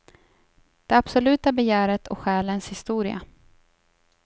Det absoluta begäret och själens historia.